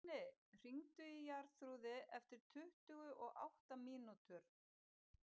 Binni, hringdu í Jarþrúði eftir tuttugu og átta mínútur.